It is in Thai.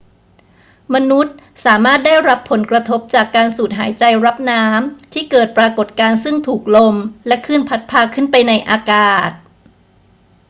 มนุษย์สามารถได้รับผลกระทบจากการสูดหายใจรับน้ำที่เกิดปรากฏการณ์ซึ่งถูกลมและคลื่นพัดพาขึ้นไปในอากาศ